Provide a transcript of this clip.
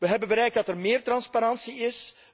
zake. Wij hebben bereikt dat er meer transparantie